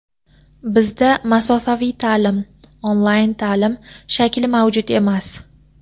bizda masofaviy taʼlim ( onlayn taʼlim ) shakli mavjud emas.